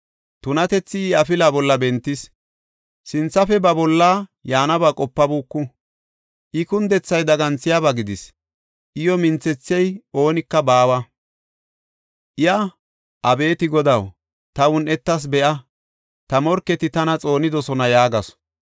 Tunatethi I afilaa bolla bentis; sinthafe ba bolla yaanaba qopabuuku. I kundethay daganthiyaba gidis; iyo minthethiya oonika baawa. Iya, “Abeeti Godaw, ta un7etetha be7a! ta morketi tana xoonidosona” yaagasu.